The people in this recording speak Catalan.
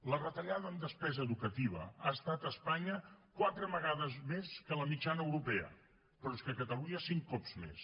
la retallada en despesa educativa ha estat a espanya quatre vegades més que la mitjana europea però és que a catalunya cinc cops més